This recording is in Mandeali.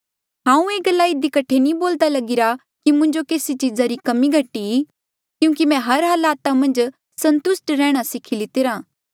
हांऊँ ये गल्ला इधी कठे नी बोल्दा लगिरा कि मुंजो केसी चीज़ा री कमी घटी क्यूंकि मैं हर हालता मन्झ संतुस्ट रैहणा सीखी लितिरा